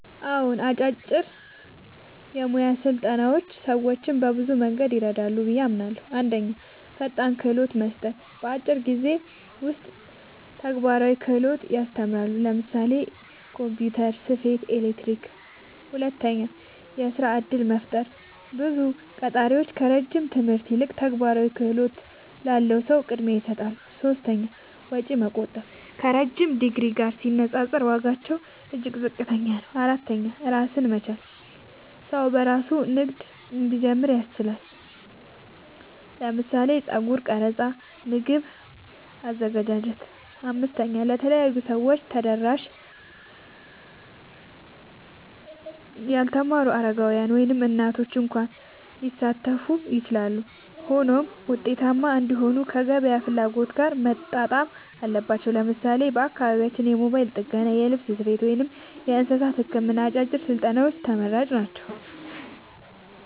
አዎን፣ አጫጭር የሙያ ስልጠናዎች ሰዎችን በብዙ መንገድ ይረዳሉ ብዬ አምናለሁ፦ 1. ፈጣን ክህሎት መስጠት – በአጭር ጊዜ ውስጥ ተግባራዊ ክህሎት ያስተምራሉ (ለምሳሌ ኮምፒውተር፣ ስፌት፣ ኤሌክትሪክ)። 2. የሥራ እድል መፍጠር – ብዙ ቀጣሪዎች ከረጅም ትምህርት ይልቅ ተግባራዊ ክህሎት ላለው ሰው ቅድሚያ ይሰጣሉ። 3. ወጪ መቆጠብ – ከረዥም ዲግሪ ጋር ሲነጻጸር ዋጋቸው እጅግ ዝቅተኛ ነው። 4. ራስን መቻል – ሰው በራሱ ንግድ እንዲጀምር ያስችላል (ለምሳሌ የጸጉር ቀረጻ፣ የምግብ አዘገጃጀት)። 5. ለተለያዩ ሰዎች ተደራሽ – ያልተማሩ፣ አረጋውያን፣ ወይም እናቶች እንኳ ሊሳተፉ ይችላሉ። ሆኖም ውጤታማ እንዲሆኑ ከገበያ ፍላጎት ጋር መጣጣም አለባቸው። ለምሳሌ በአካባቢያችን የሞባይል ጥገና፣ የልብስ ስፌት፣ ወይም የእንስሳት ሕክምና አጫጭር ስልጠናዎች ተመራጭ ናቸው።